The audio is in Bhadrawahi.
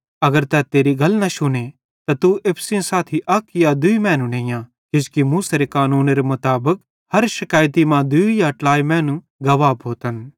अगर तै तेरी गल न शुने त तू एप्पू सेइं साथी अक या दूई मैनू नेइयां किजोकि मूसेरे कानूनेरे मुताबिक हर शिकैइतरी मां दूई या ट्लाई मैनू गवाह भोतन